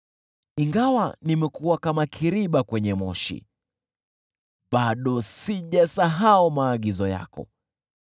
Ingawa nimekuwa kama kiriba kwenye moshi, bado sijasahau maagizo yako.